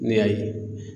Ne y'a ye